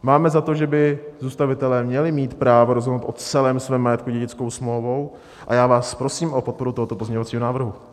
Máme za to, že by zůstavitelé měli mít právo rozhodnout o celém svém majetku dědickou smlouvou, a já vás prosím o podporu tohoto pozměňovacího návrhu.